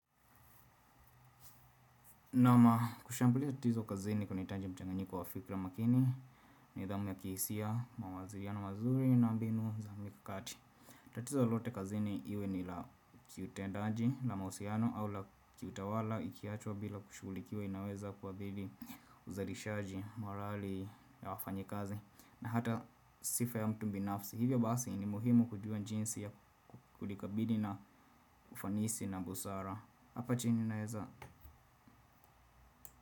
Kushambulia tatizo kazini kunahitaji mchanganyiko wa fikra makini ni dhamu ya kihisia, mawaziriano mazuri na mbinu za mkakati. Tatizo lote kazini iwe ni la kiutendaji, la mausiano au la kiutawala, ikiachwa bila kushulikiwa inaweza kuwaadhili uzarishaji, marali ya wafanyikazi na hata sifa ya mtu binafsi. Hivyo basi ni muhimu kujua njinsi ya kulikabili na ufanisi na busara. Hapa chini naeza.